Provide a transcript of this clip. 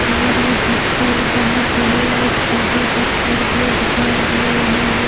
और ये पत्थर बहोत बड़े और छोटे पत्थर भी दिखाई दे रहे हैं।